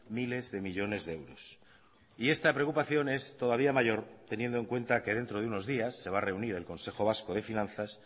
miles de millónes de euros y esta preocupación es todavía mayor teniendo en cuenta que dentro de unos días se va a reunir el consejo vasco de finanzas